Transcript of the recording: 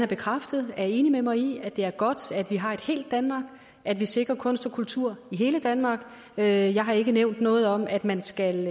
bekræftet er enig med mig i at det er godt at vi har et helt danmark at vi sikrer kunst og kultur i hele danmark jeg har ikke nævnt noget om at man skal